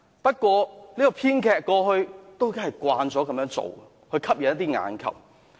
不過，這位編劇過去都習慣這樣做，以吸引眼球。